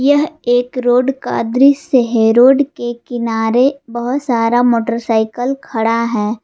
यह एक रोड का दृश्य है रोड के किनारे बहोत सारा मोटरसाइकल खड़ा है।